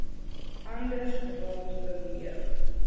anders rond beweeg